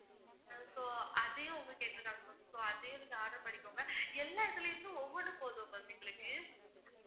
so அதையும் அவங்க கேட்டிருக்காங்க ma'am so அதையும் நீங்க order பண்ணிக்கோங்க, எல்லாத்துலேந்தும் ஒவ்வொண்ணு போதும் ma'am எங்களுக்கு